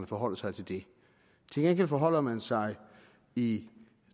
forholder sig til det til gengæld forholder man sig i